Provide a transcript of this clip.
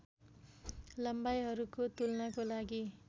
लम्बाइहरूको तुलनाको लागि